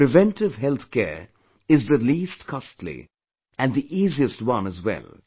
Preventive health care is the least costly and the easiest one as well